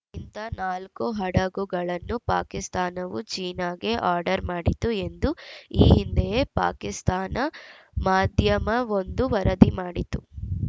ಇಂಥ ನಾಲ್ಕು ಹಡಗುಗಳನ್ನು ಪಾಕಿಸ್ತಾನವು ಚೀನಾಗೆ ಆರ್ಡರ್‌ ಮಾಡಿತ್ತು ಎಂದು ಈ ಹಿಂದೆಯೇ ಪಾಕಿಸ್ತಾನ ಮಾಧ್ಯಮವೊಂದು ವರದಿ ಮಾಡಿತ್ತು